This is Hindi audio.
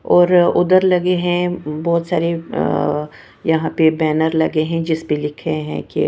और उधर लगे हैं बहुत सारे अ अ यहां पे बैनर लगे हैं जिस पे लिखे हैं कि --